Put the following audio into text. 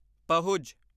ਪਹੁਜ